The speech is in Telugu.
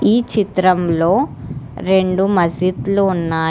ఈ చిత్రంలో రెండు మసీద్లు ఉన్నాయి.